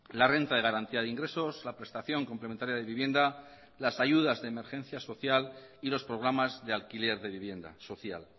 la renta de garantía de ingresos la prestación complementaria de vivienda las ayudas de emergencia social y los programas de alquiler de vivienda social